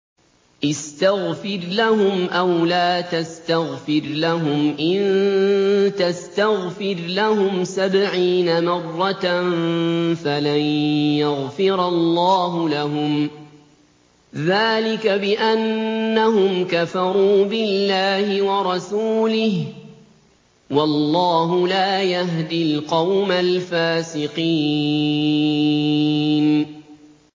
اسْتَغْفِرْ لَهُمْ أَوْ لَا تَسْتَغْفِرْ لَهُمْ إِن تَسْتَغْفِرْ لَهُمْ سَبْعِينَ مَرَّةً فَلَن يَغْفِرَ اللَّهُ لَهُمْ ۚ ذَٰلِكَ بِأَنَّهُمْ كَفَرُوا بِاللَّهِ وَرَسُولِهِ ۗ وَاللَّهُ لَا يَهْدِي الْقَوْمَ الْفَاسِقِينَ